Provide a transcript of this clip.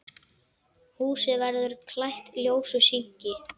Húsið verður klætt ljósu sinki.